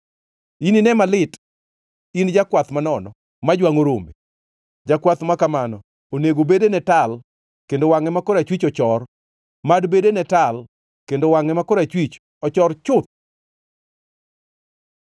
“Inine malit in jakwath manono ma jwangʼo rombe! Jakwath ma kamano onego bedene tal kendo wangʼe ma korachwich ochor! Mad bedene tal, kendo wangʼe ma korachwich ochor chuth!”